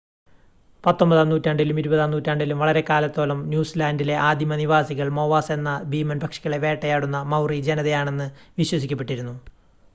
പത്തൊൻപതാം നൂറ്റാണ്ടിലും ഇരുപതാം നൂറ്റാണ്ടിലും വളരെക്കാലത്തോളം ന്യൂസിലാൻ്റിലെ ആദിമ നിവാസികൾ മോവാസ് എന്ന ഭീമൻ പക്ഷികളെ വേട്ടയാടുന്ന മൗറി ജനതയാണെന്ന് വിശ്വസിക്കപ്പെട്ടിരുന്നു